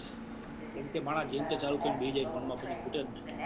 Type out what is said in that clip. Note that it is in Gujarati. કેમ કે માણહ જેન તે ચાલુ કરીં બેહી જાય phone માં પછી ખૂટે જ ને.